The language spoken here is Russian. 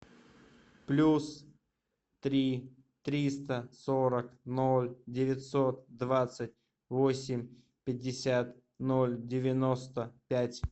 плюс три триста сорок ноль девятьсот двадцать восемь пятьдесят ноль девяносто пять